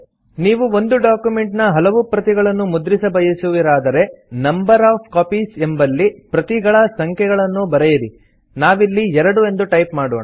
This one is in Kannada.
ನೀವು ಒಂದು ಡಾಕ್ಯುಮೆಂಟ್ ನ ಹಲವು ಪ್ರತಿಗಳನ್ನು ಮುದ್ರಿಸ ಬಯಸುವಿರಾದರೆ ನಂಬರ್ ಒಎಫ್ ಕಾಪೀಸ್ ಎಂಬಲ್ಲಿ ಪ್ರತಿಗಳ ಸಂಖ್ಯೆಯನ್ನು ಬರೆಯಿರಿ ನಾವಿಲ್ಲಿ 2 ಎಂದು ಟೈಪ್ ಮಾಡೋಣ